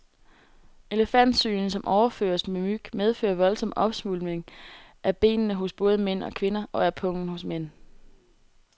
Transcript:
Elefantsygen, som overføres med myg, medfører voldsom opsvulmning af benene hos både mænd og kvinder, og af pungen hos mænd.